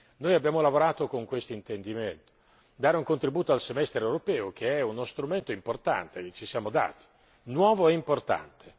Noi abbiamo lavorato con l'intendimento di dare un contributo al Semestre europeo che è uno strumento importante che ci siamo dati, nuovo e importante.